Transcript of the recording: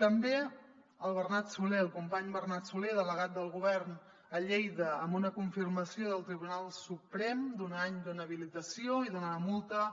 també al bernat solé al company bernat solé delegat del govern a lleida amb una confirmació del tribunal suprem d’un any d’inhabilitació i d’una multa